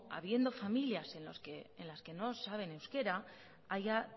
habiendo familias en las que no saben euskera haya